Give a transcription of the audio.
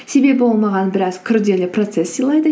себебі ол маған біраз күрделі процесс сыйлайды